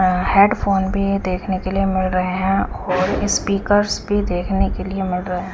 Headphone भी देखने के लिए मिल रहे हैं और स्पीकर्स भी देखने के लिए मिल रहे।